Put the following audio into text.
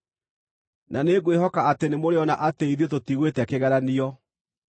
Na nĩngwĩhoka atĩ nĩmũrĩona atĩ ithuĩ tũtigwĩte kĩgeranio.